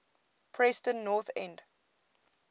preston north end